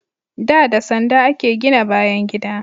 Da, da sanda a ke gina bayan gida